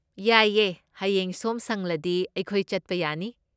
ꯌꯥꯏꯌꯦ, ꯍꯌꯦꯡ ꯁꯣꯝ ꯁꯪꯂꯗꯤ ꯑꯩꯈꯣꯏ ꯆꯠꯄ ꯌꯥꯅꯤ꯫